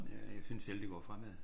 Ja jeg synes selv det går fremad